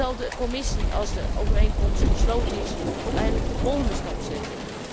En zal de Commissie, als de overeenkomst gesloten is, ook eindelijk de volgende stap zetten?